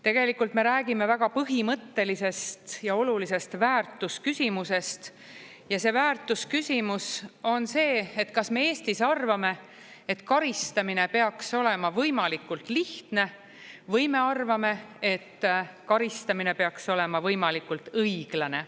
Tegelikult me räägime väga põhimõttelisest ja olulisest väärtusküsimusest, ja see väärtusküsimus on see, et kas me Eestis arvame, et karistamine peaks olema võimalikult lihtne, või me arvame, et karistamine peaks olema võimalikult õiglane.